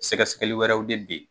Sɛgɛsɛgɛli wɛrɛw de bɛ yen.